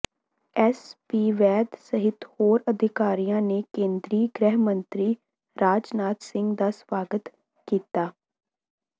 S P Vaid ਸਹਿਤ ਹੋਰ ਅਧਿਕਾਰੀਆਂ ਨੇ ਕੇਂਦਰੀ ਗ੍ਰਹਿ ਮੰਤਰੀ ਰਾਜਨਾਥ ਸਿੰਘ ਦਾ ਸਵਾਗਤ ਕੀਤਾ